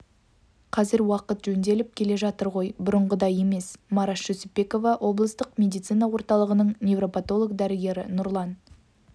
қазір уақыт жөнделіп келе жатыр ғой бұрынғыдай емес мараш жүсіпбекова облыстық медицина орталығының невропотолог дәрігері нұрлан